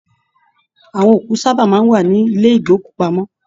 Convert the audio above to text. Àwọn òkú sábà máa n wà nílẹ̀ ìgbòkúpamọ.